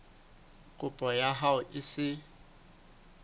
kopo ya hao e se